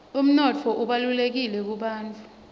umnotfo ubalulekile kubafufusi